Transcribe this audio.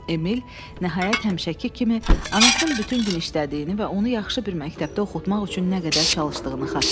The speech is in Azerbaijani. Emil nəhayət həmişəki kimi anasının bütün gün işlədiyini və onu yaxşı bir məktəbdə oxutmaq üçün nə qədər çalışdığını xatırlayır.